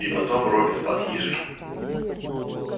и потом робби спас ей жизнь